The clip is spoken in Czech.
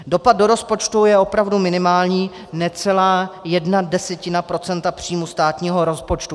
Dopad do rozpočtu je opravdu minimální, necelá jedna desetina procenta příjmu státního rozpočtu.